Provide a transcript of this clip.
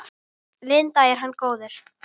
Linda: Er hann góður?